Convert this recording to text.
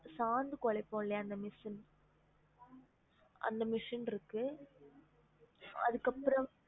சாந்து கொளைப்போம்லயா அந்த machine அந்த machine இருக்கு அதுக்கு அப்புறம்